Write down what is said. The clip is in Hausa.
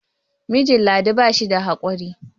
mijijn ladi ba shi da haƙuri